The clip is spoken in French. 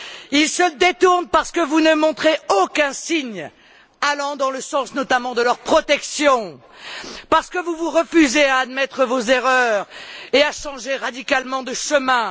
Ils se détournent parce que vous ne montrez aucun signe allant dans le sens, notamment, de leur protection, parce que vous vous refusez à admettre vos erreurs et à changer radicalement de chemin.